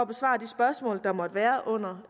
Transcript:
besvare de spørgsmål der måtte være under